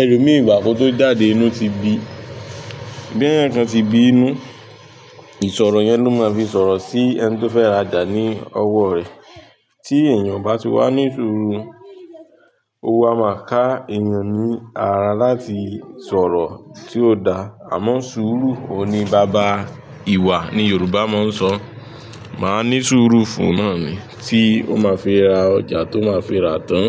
Ẹlomi ìgbà kó tó jáde inú ti bí. Bí èèyàn kan ti bí inú, ìsọ̀rọ̀ yẹn ló máa fi sọ̀rọ̀ sí ẹni tí ó fẹ́ rajà ní ọwọ́ rẹ. Tí èèyàn ò bati wà ní sùúrù, ó wá máa ka èèyàn ní ara láti sọ̀rọ̀ tí ó dáa. Àmọ́ sùúrù, òuní bába ìwà ni Yorùbá máa ń sọ. Màa ní sùúrù fún náà ni tí ó máa fi ra ọjà tó máa fi ra tán.